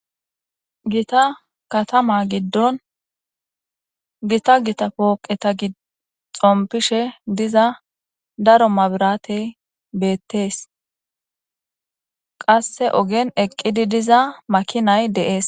Gita kataman gidon Gita Gita pooqetan xompishe diza mabiratey betes, qase ogen eqid diza makinay de'es.